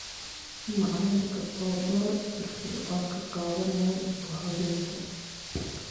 Macallinka oo door firfircoon ka qaadanaya isku-habayntan.